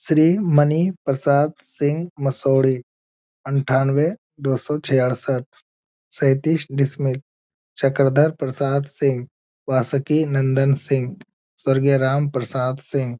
श्री मणि प्रसाद सिंघ मसौडी अंठानवे दो सौ छियासाठ सैतीस डिसमिल चक्रधर प्रसाद सिंघ वास्की नंदन सिंघ स्वर्गीय राम प्रसाद सिंघ ।